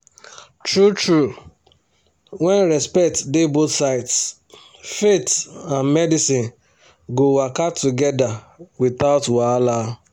true true when respect dey both sides faith and medicine go waka together without wahala